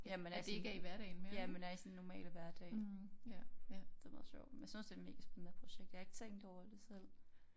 Ja man er sådan ja man er i sin normale hverdag det meget sjovt men jeg synes det et megaspændende projekt jeg har ikke tænkt over det selv